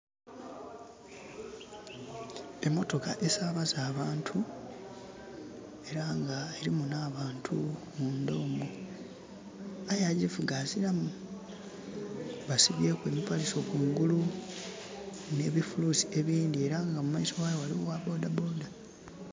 Emotoka esabaza abantu era nga mulimu abantu munda omwo aye agivuga azilamu. Basibyeku emipaliso kungulu nhe bi fulusi ebindhi era nga mu maiso ghayo eriyo ogha bodha bodha.